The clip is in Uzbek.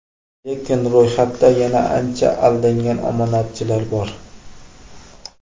Lekin ro‘yxatda yana ancha aldangan omonatchilar bor.